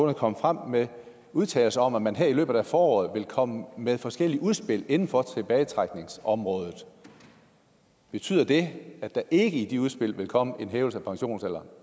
er kommet frem med udtalelser om at man i løbet af foråret vil komme med forskellige udspil inden for tilbagetrækningsområdet betyder det at der ikke i de udspil vil komme en hævelse af pensionsalderen